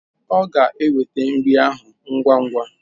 Ọ ga-eweta nri ahụ ngwa ngwa.